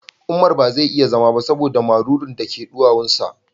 Umar ba zai iya zama ba saboda marurun da ke duwawun sa